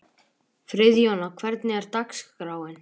Friðjóna, hvernig er dagskráin?